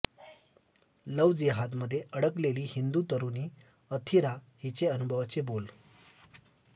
love जिहादमध्ये अडकलेली हिंदु तरुणी अथिरा हिचे अनुभवाचे बोल